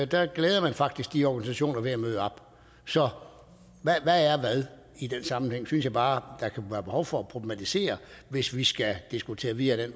der glæder man faktisk de organisationer ved at møde op så hvad er hvad i den sammenhæng det synes jeg bare der kan være behov for at problematisere hvis vi skal diskutere videre ad